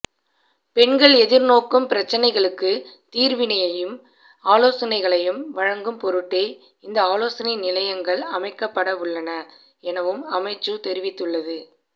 பெண்கள் எதிர்நோக்கும் பிரச்சினைகளுக்குத் தீர்வினையையும் ஆலோசனைகளையும் வழங்கும் பொருட்டே இந்த ஆலோசனை நிலையங்கள் அமைக்கப்படவுள்ளன எனவும் அமைச்சு தெரிவித்துள்ளது